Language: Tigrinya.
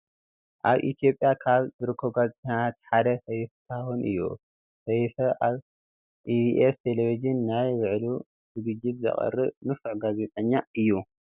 አብ ኢትየጵያ ካብ ዝርከቡ ጋዜጠኛታት ሓደ ሰይፉ ፉታሁን እዩ ።ስይፈ አብ ኢቢስ ቴሌብዥን ናይ ብዕሉ ዝግጅት ዘቅርብ ንፉዕ ጋዜጠኛ እዩ።